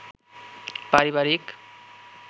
পারিবারিক